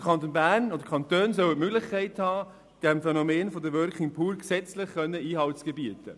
Die Kantone sollen die Möglichkeit erhalten, dem Phänomen der Working Poor gesetzlich Einhalt zu gebieten.